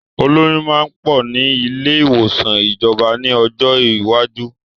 Olóyun máa pọ̀ ni ilé ìwòsàn ìjọba ni ọjọ́ iwájú.